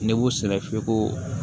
Ne b'u sɛgɛ fiyɛ ko